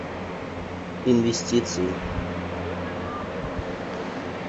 инвестиции